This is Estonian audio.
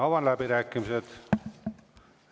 Avan läbirääkimised.